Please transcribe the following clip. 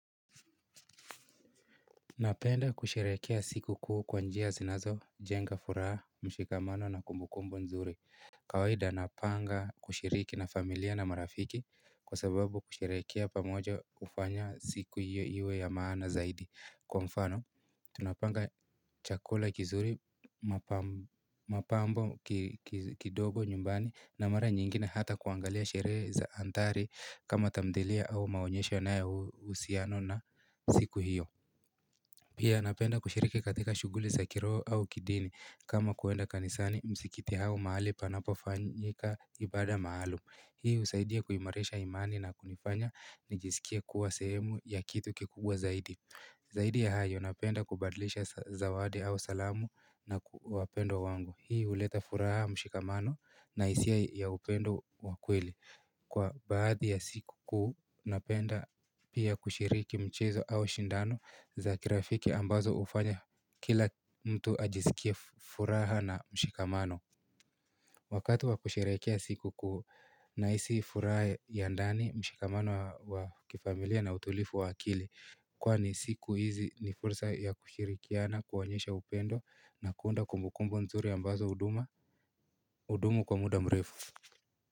Napenda kusherekea sikuku kwa njia zinazo jenga furaha mshikamano na kumbukumbu nzuri kawaida napanga kushiriki na familia na marafiki kwa sababu kuisherekea pamoja ufanya siku hiyo iwe ya maana zaidi kwa mfano Tunapanga chakula kizuri mapambo kidogo nyumbani na mara nyingine hata kuangalia sherehe za antari kama tamdelia au maonyesho yanayo usiano na siku hiyo Pia napenda kushiriki katika shuguli sa kiroo au kidini kama kuenda kanisani msikiti hao mahali panapo fanyika ibada maalum. Hii husaidia kuimarisha imani na kunifanya nijisikie kuwa sehemu ya kitu kikunbwa zaidi. Zaidi ya hayo napenda kubadilisha zawadi au salamu na kuwa pendo wangu. Hii huleta furaha mshikamano na hisia ya upendo wakweli. Kwa baadhi ya sikukuu napenda pia kushiriki mchezo au shindano za kirafiki ambazo hufanya kila mtu ajisikie furaha na mshikamano. Wakati wakusherekea sikuku naisi furaha ya ndani mshikamano wa kifamilia na utulifu wa akili Kwani siku hizi ni fursa ya kushirikiana kuwanyesha upendo na kuunda kumbukumbu nzuri ambazo uduma Udumu kwa muda mrefu.